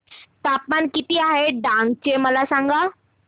तापमान किती आहे डांग चे मला सांगा